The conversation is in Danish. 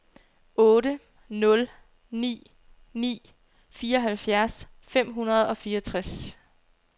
otte nul ni ni fireoghalvfjerds fem hundrede og fireogtres